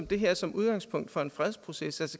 det her som udgangspunkt for en fredsproces